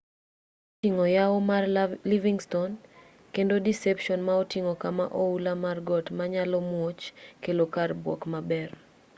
moko oting'o yawo mar livingston kendo deception ma oting'o kama oula mar got ma nyalo muoch kelo kar buok maber